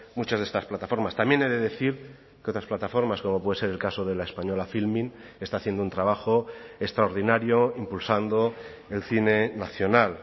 muchas de estas plataformas también he de decir que otras plataformas como puede ser el caso de la española filmin está haciendo un trabajo extraordinario impulsando el cine nacional